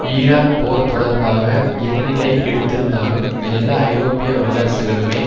Iraq போர் தொடர்பாக என்ன நிலை எடுத்திருந்தாலும் எல்லா ஐரோப்பிய வல்லரசுகளுமே